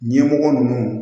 Ɲɛmɔgɔ ninnu